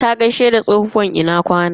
Ta gaishe da tsohuwar "Ina kwana".